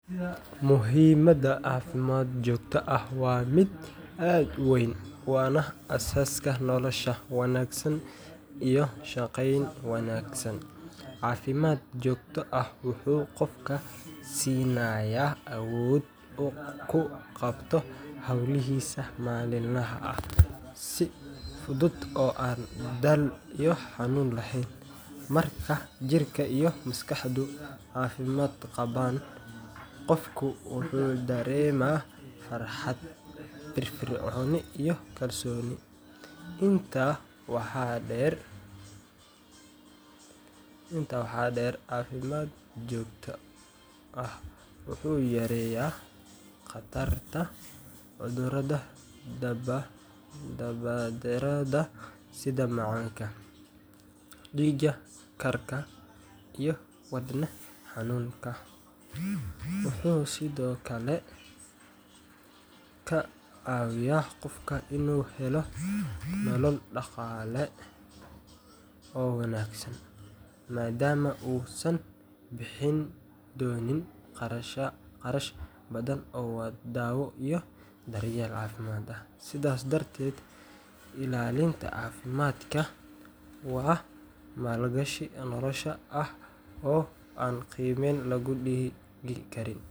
Muhiimadda caafimaad joogto ah waa mid aad u weyn, waana aasaaska nolosha wanaagsan iyo shaqayn wanaagsan. Caafimaad joogto ah wuxuu qofka siinayaa awood uu ku qabto hawlihiisa maalinlaha ah si fudud oo aan daal iyo xanuun lahayn. Marka jirka iyo maskaxdu caafimaad qabaan, qofku wuxuu dareemaa farxad, firfircooni, iyo kalsooni. Intaa waxaa dheer, caafimaad joogto ah wuxuu yareeyaa khatarta cudurrada daba-dheeraada sida macaanka, dhiig karka, iyo wadne xanuunka. Wuxuu sidoo kale ka caawiyaa qofka inuu helo nolol dhaqaale oo wanaagsan, maadaama uusan bixin doonin kharash badan oo daawo iyo daryeel caafimaad ah. Sidaas darteed, ilaalinta caafimaadka waa maalgashi nolosha ah oo aan qiime loo dhigi karin.